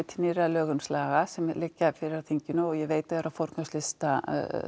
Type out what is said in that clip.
lögheimilislaga sem liggja fyrir þinginu og ég veit þau eru á forgangslista